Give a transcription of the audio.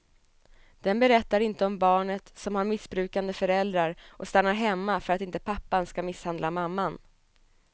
Den berättar inte om barnet som har missbrukande föräldrar och stannar hemma för att inte pappan ska misshandla mamman.